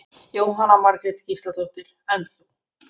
Jóhanna Margrét Gísladóttir: En þú?